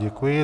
Děkuji.